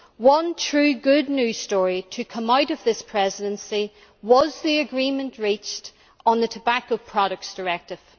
One truly good news story to come out of this Presidency was the agreement reached on the Tobacco Products Directive.